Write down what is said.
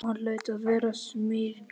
Jóhann hlaut að vera smyglarinn.